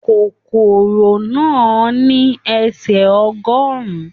Kòkòrò náà ní ẹsẹ ọgọrùn.